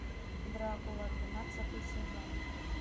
дракула двенадцатый сезон